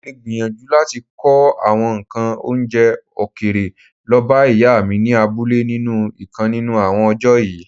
Molè gbìyànjú láti kó àwọn ǹkan oúnjẹ òkèèrè lọbá Ìyá mi ni abúlé nínú ìkan nínú àwọn ọjọ́ yìí.